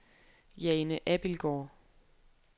Jane Abildgaard